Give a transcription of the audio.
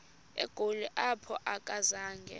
egoli apho akazanga